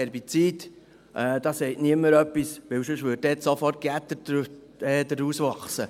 Da sagt niemand etwas, weil ansonsten würde da sofort Unkraut wachsen.